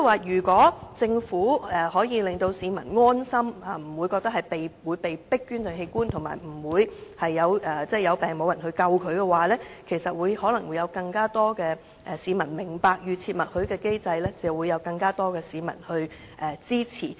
如果政府能令市民感到安心，不會覺得被迫捐贈器官，以及不會患病時不獲搶救的話，可能會有更多市民明白及支持預設默許機制。